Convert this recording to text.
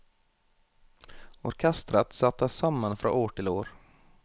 Orkestret settes sammen fra år til år.